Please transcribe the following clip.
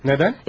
Nədən?